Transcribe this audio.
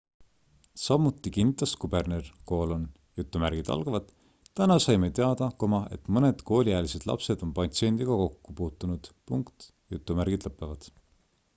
samuti kinnitas kuberner täna saime teada et mõned kooliealised lapsed on patsiendiga kokku puutunud